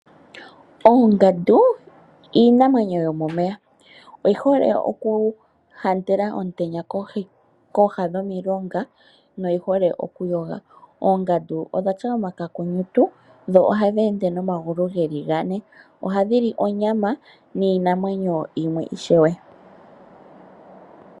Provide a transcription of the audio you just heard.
Oongandu iinamwenyo yomomeya oyi hole oku ontela omutenya kooha dhomilonga noyi hole oku yoga. Oongandu odha tya omakakunyutu. Ohadhi ende nomagulu geli gane. Ohadhi li onyama niinamwenyo yimwe ishewe.